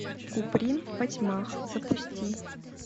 куприн впотьмах запусти